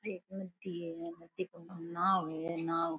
है नदी के ऊपर नाव है नाव।